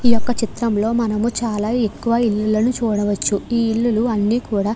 ఈ యొక్క చిత్రం లో మనము చాలా ఎక్కువ ఇల్లులను చూడవచ్చు. ఈ ఇల్లు లు అన్నీ కూడా --